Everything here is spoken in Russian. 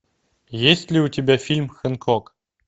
есть ли у тебя фильм хэнкок